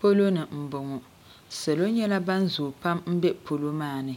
polo ni m-bɔŋɔ salo nyɛla ban zooi pam m-be polo maa ni